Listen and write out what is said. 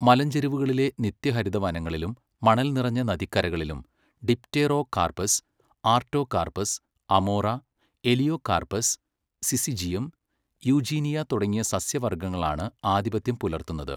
മലഞ്ചെരിവുകളിലെ നിത്യഹരിതവനങ്ങളിലും മണൽനിറഞ്ഞ നദിക്കരകളിലും dipterocarpus, artocarpus, amoora, elaeocarpus, syzygium, eugenia തുടങ്ങിയ സസ്യവർഗ്ഗങ്ങളാണ് ആധിപത്യം പുലർത്തുന്നത്.